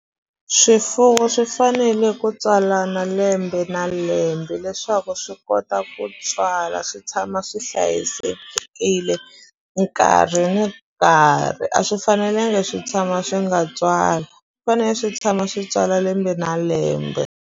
Swifuwo swi fanele ku tswalana lembe na lembe leswaku swi kota ku tswala swi tshama swi hlayisekile nkarhi ni nkarhi a swi fanelangi swi tshama swi nga tswali fane swi tshama swi tswala lembe na lembe.